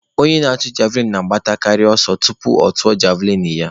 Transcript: Onye na-atụ javlịn na-agbatụ ntakịrị ọsọ tupu ọ tụpụ javlịn ya.